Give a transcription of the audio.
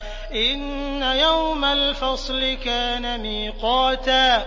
إِنَّ يَوْمَ الْفَصْلِ كَانَ مِيقَاتًا